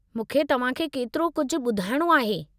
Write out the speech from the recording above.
मूंखे तव्हांखे केतिरो कुझु ॿुधायणो आहे।